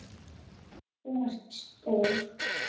Þú ert stór.